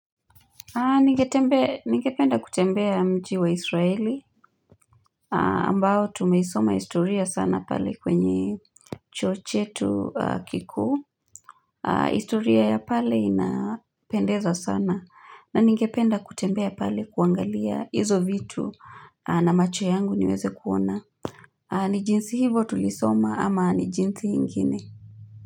Ningependa kutembea mji wa israeli ambao tumeisoma historia sana pale kwenye chuo chetu kikuu historia ya pale inapendeza sana na ningependa kutembea pale kuangalia hizo vitu na macho yangu niweze kuona ni jinsi hivo tulisoma ama ni jinsi ingine.